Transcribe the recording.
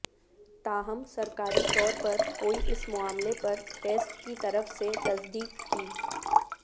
تاہم سرکاری طور پر کوئی اس معاملے پر ٹیسٹ کی طرف سے تصدیق کی